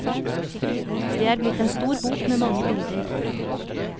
Det er blitt en stor bok med mange bilder.